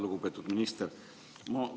Lugupeetud minister!